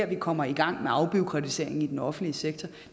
vi kommer i gang med afbureaukratiseringen i den offentlige sektor